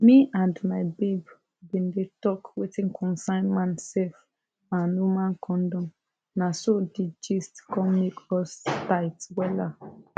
me and my babe bin dey talk wetin concern man sef and woman condom na so di gist come make us tight wella